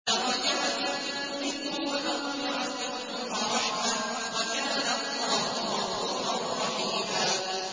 دَرَجَاتٍ مِّنْهُ وَمَغْفِرَةً وَرَحْمَةً ۚ وَكَانَ اللَّهُ غَفُورًا رَّحِيمًا